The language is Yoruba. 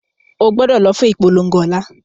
Ogbúdọ̀ lọ fún ìpolongo ọ̀la